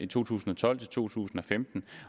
to tusind og tolv til to tusind og femten